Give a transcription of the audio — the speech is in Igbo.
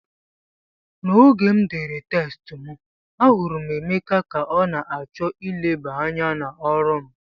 N'oge m dere test m, ahụrụ m Emeka ka ọ na-achọ ileba anya n'ọrụ m